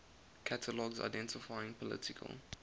catalogs identifying political